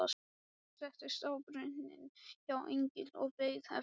Settist á brunninn hjá englinum og beið eftir